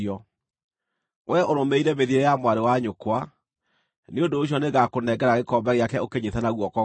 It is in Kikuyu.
Wee ũrũmĩrĩire mĩthiĩre ya mwarĩ wa nyũkwa; nĩ ũndũ ũcio nĩngakũnengera gĩkombe gĩake ũkĩnyiite na guoko gwaku.